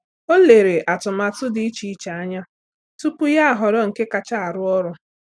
Ọ́ lérè atụmatụ dị́ iche iche anya tupu yá họ́rọ́ nke kacha arụ ọrụ.